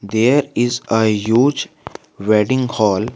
There is a huge wedding hall.